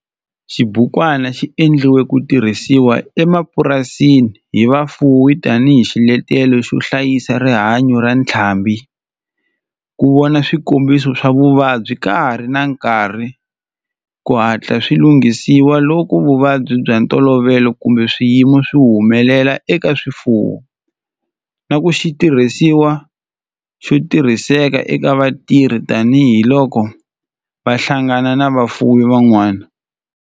Xibukwana xi endliwe ku tirhisiwa emapurasini hi vafuwi tani hi xiletelo xo hlayisa rihanyo ra ntlhambhi, ku vona swikombiso swa vuvabyi ka ha ri na nkarhi ku hatla swi langutisiwa loko vuvabyi bya ntolovelo kumbe swiyimo swi humelela eka swifuwo, na ku va xitirhisiwa xo tirhiseka eka vatirhi tani hi loko va hlangana na vafuwi van'wana.